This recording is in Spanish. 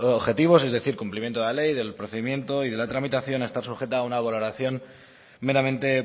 objetivos es decir cumplimiento de la ley del procedimiento y de la tramitación está sujeta a una valoración meramente